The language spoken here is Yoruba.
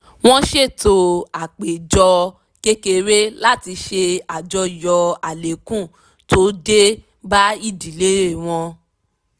wọ́n ṣètò àpéjọ kékeré láti ṣe àjọyọ̀ àlékún tó dé bá ìdílé wọn